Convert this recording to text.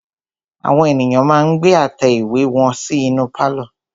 Àwọn ènìyàn ma ń gbé àtẹ ìwé wọn sí inú pálọ̀.